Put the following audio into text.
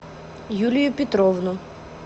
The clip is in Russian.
юлию петровну